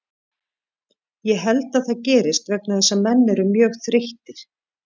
Ég held að það gerist vegna þess að menn eru mjög þreyttir.